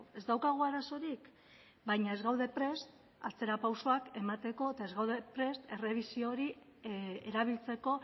ez daukagu arazorik baina ez gaude prest atzera pausuak emateko eta ez gaude prest errebisio hori erabiltzeko